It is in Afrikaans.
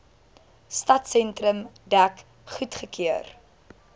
stadsentrum dek goedgekeur